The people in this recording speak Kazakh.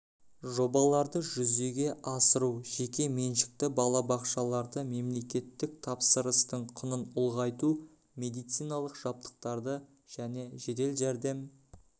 жобаларды жүзеге асыру жеке меншікті балабақшаларда мемлекеттік тапсырыстың құнын ұлғайту медициналық жабдықтарды және жедел жәрдем